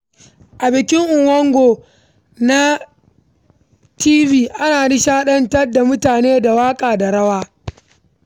A bikin Nguon na kabilar Tiv, ana nishadantar da jama’a da waƙa da rawa.